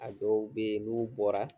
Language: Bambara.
A dɔw be ye, n'u bɔra